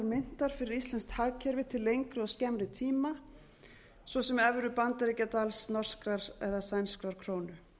myntar fyrir íslenskt hagkerfi til lengri og skemmri tíma svo sem evru bandaríkjadals norskrar eða sænskrar krónu